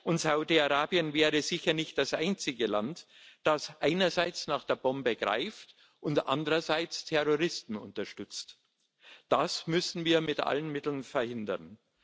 Und Saudi Arabien wäre sicher nicht das einzige Land, das einerseits nach der Bombe greift und andererseits Terroristen unterstützt. Das müssen wir mit allen Mitteln verhindern.